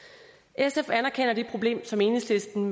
sf anerkender det problem som enhedslisten